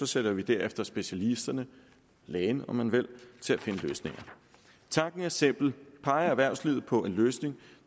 sætter vi derefter specialisterne lægen om man vil til at finde løsninger tanken er simpel peger erhvervslivet på en løsning